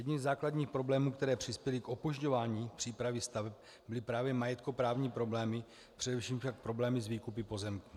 Jedním ze základních problémů, které přispěly k opožďování přípravy staveb, byly právě majetkoprávní problémy, především však problémy s výkupy pozemků.